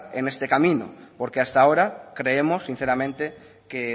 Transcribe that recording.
en este camino porque hasta ahora creemos sinceramente que